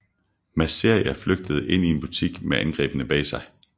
Masseria flygtede ind i en butik med angriberne bag sig